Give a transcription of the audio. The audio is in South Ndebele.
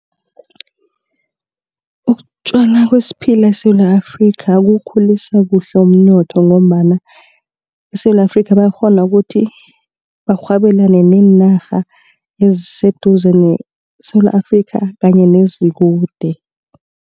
Ukutjalwa kwesiphila eSewula Afrika kuwukhulisa kuhle umnotho ngombana eSewula Afrika bayakghona ukuthi barhwebelana neenarha eziseduze neSewula Afrika kanye nezikude.